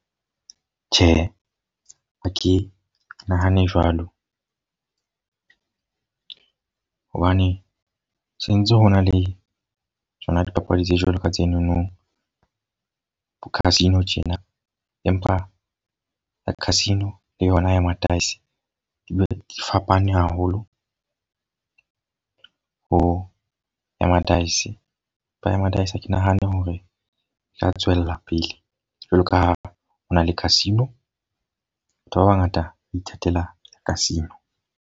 Tjhe, ha ke nahane jwalo. hobane sentse ho na le tsona dipapadi tse jwalo ka tsenono. Bo casino tjena. Empa ya casino le yona ya ma-dice di fapane haholo ho ya ma-dice. Empa ya ma-dice ha ke nahane hore e ka tswella pele. Jwalo ka ha ho na le casino. Batho ba ba ngata ba ithatela casino.